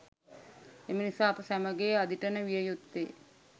එමනිසා, අප සැමගේ අදිටන විය යුත්තේ,